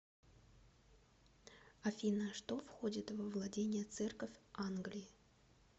афина что входит во владения церковь англии